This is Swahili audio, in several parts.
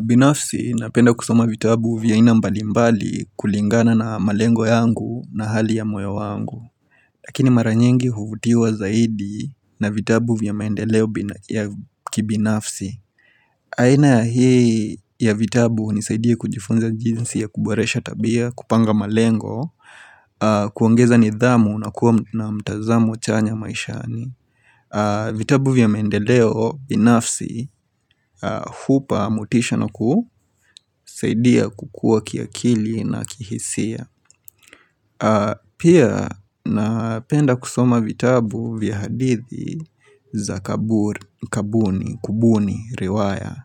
Binafsi, napenda kusoma vitabu vya aina mbalimbali kulingana na malengo yangu na hali ya moyo wangu. Lakini mara nyingi huvutiwa zaidi na vitabu vya maendeleo ya kibinafsi aina ya hii ya vitabu hunisaidia kujifunza jinsi ya kuboresha tabia, kupanga malengo kuongeza nidhamu na kuwa na mtazamo chanya maishani. Vitabu vya mendeleo binafsi hupa motisha na kusaidia kukuwa kiakili na kihisia Pia napenda kusoma vitabu vya hadithi za kabuni, kubuni, riwaya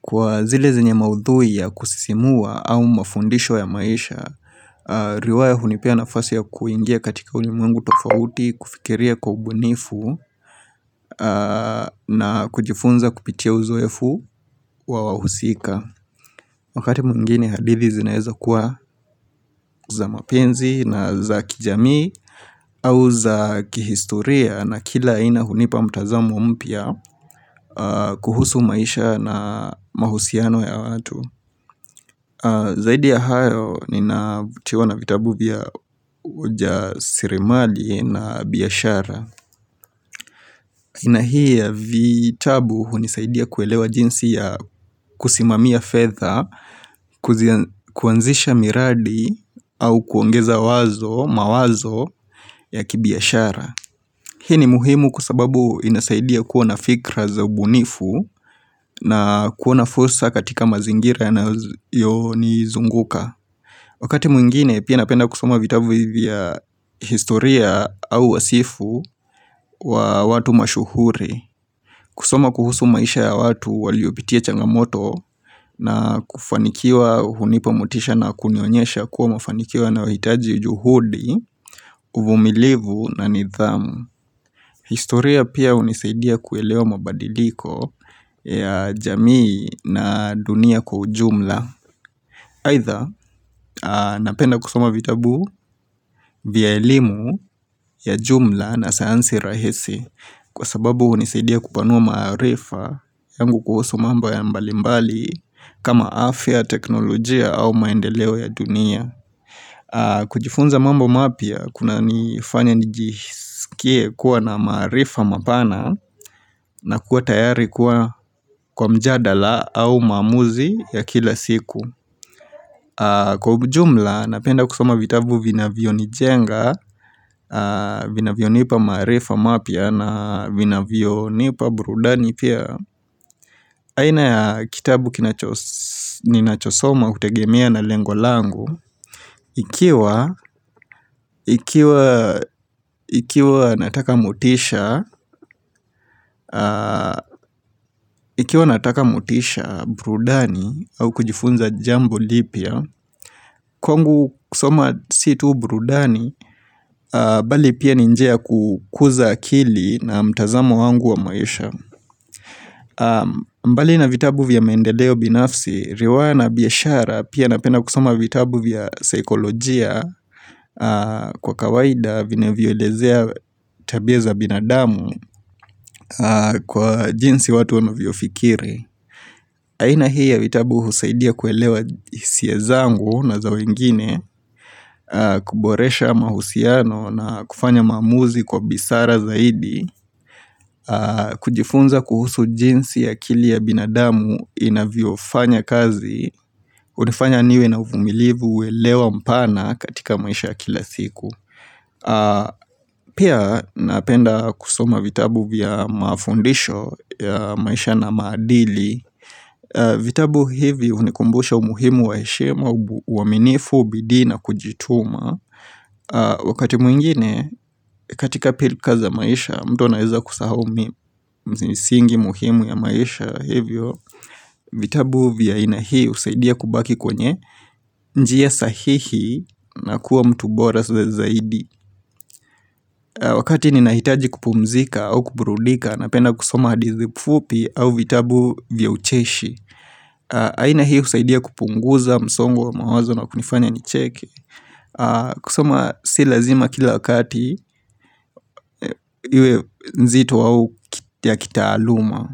Kwa zile zenye maudhui ya kusisimua au mafundisho ya maisha riwaya hunipea nafasi ya kuingia katika ulimwengu tofauti kufikiria kwa ubunifu na kujifunza kupitia uzoefu wa wahusika Wakati mwingine hadithi zinaeza kuwa za mapenzi na za kijami au za kihistoria na kila aina hunipa mtazamo mpya kuhusu maisha na mahusiano ya watu Zaidi ya hayo ninavutiwa na vitabu vya uja sirimali na biashara. Aina hii ya vitabu hunisaidia kuelewa jinsi ya kusimamia fedha, kuanzisha miradi au kuongeza wazo, mawazo ya kibiashara. Hii ni muhimu kwa sababu inasaidia kuwa fikra za ubunifu na kuona fursa katika mazingira yanayonizunguka. Wakati mwingine pia napenda kusoma vitabu hivi vya historia au wasifu wa watu mashuhuri kusoma kuhusu maisha ya watu waliopitia changamoto na kufanikiwa hunipa motisha na kunionyesha kuwa mafanikio yanahitaji juhudi, uvumilivu na nidhamu. Historia pia hunisaidia kuelewa mabadiliko ya jamii na dunia kwa ujumla. Aidha napenda kusoma vitabu vya elimu ya jumla na sayansi rahisi kwa sababu hunisaidia kupanua marifa yangu kuhusu mambo ya mbalimbali kama afya teknolojia au maendeleo ya dunia kujifunza mambo mapya kuna nifanya nijisikie kuwa na marifa mapana na kuwa tayari kuwa kwa mjadala au maamuzi ya kila siku Kwa ujumla, napenda kusoma vitabu vinavyonijenga, vinavyo nipa maarifa mapya na vinavyonipa burudani pia. Aina ya kitabu ninachosoma hutegemia na lengo langu, ikiwa nataka motisha burudani au kujifunza jambo lipya, Kwangu kusoma si tu burudani, bali pia ni njia ya kukuza akili na mtazamo wangu wa maisha mbali na vitabu vya maendedeo binafsi, riwaya na biashara pia napenda kusoma vitabu vya saikolojia. Kwa kawaida vinavyolezea tabia za binadamu kwa jinsi watu wanavyofikiri aina hii ya vitabu husaidia kuelewa hisia zangu na za wengine, kuboresha mahusiano na kufanya maamuzi kwa busara zaidi, kujifunza kuhusu jinsi akili ya binadamu inavyofanya kazi, hunifanya niwe na uvumilivu uelewa mpana katika maisha kila siku. Pia napenda kusoma vitabu vya mafundisho ya maisha na maadili vitabu hivi hunikumbusha umuhimu wa heshima uaminifu bidii na kujituma Wakati mwingine katika pilka za maisha mtu anaeza kusahau misingi muhimu ya maisha hivyo vitabu vya aina hii husaidia kubaki kwenye njia sahihi na kuwa mtu bora zaidi Wakati ninahitaji kupumzika au kuburudika, Napenda kusoma hadithi fupi au vitabu vya ucheshi aina hii husaidia kupunguza msongo wa mawazo na kunifanya nicheke kusoma si lazima kila wakati Iwe nzito au ya kitaaluma.